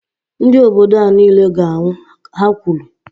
Ndị obodo a niile ga -anwụ, Ha kwuru